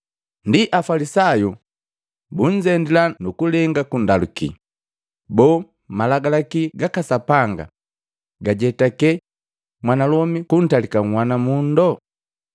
Ndi Afalisayu bunzendila nu kulenga kundaluki, “Boo malagalaki gaka Sapanga gajetake mwanalomi kuntalika nhwana mundo?”